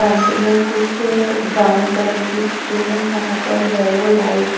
front में कुछ brown colour की स्क्रीन है जहां पर येलो लाइट --